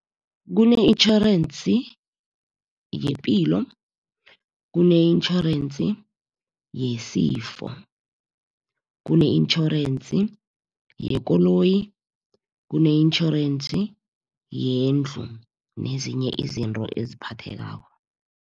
Kune-itjhorensi yepilo, kune-itjhorensi yesifo, kune-insurance yekoloyi, kune-itjhorensi yendlu nezinye izinto eziphathekako.